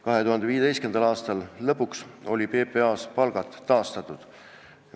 2015. aasta lõpuks olid PPA-s palgad taastatud.